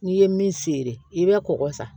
N'i ye min seri i bɛ kɔkɔ san